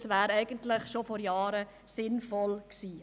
Es wäre eigentlich bereits vor Jahren sinnvoll gewesen.